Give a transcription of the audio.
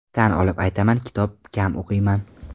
Tan olib aytaman kitob kam o‘qiyman.